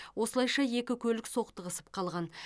осылайша екі көлік соқтығысып қалған